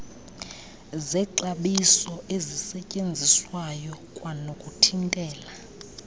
zexabiso ezisetyenziswayo kwanokuthintela